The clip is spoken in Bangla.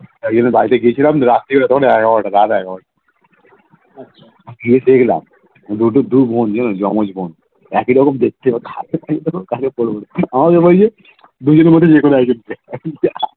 বাড়িতে গিয়েছিলাম রাত্রি বারোটা তখন এগারোটা রাত এগারোটা দুবোন জানো জমজ বোন একই রকম দেখতে